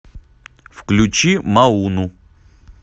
включи мауну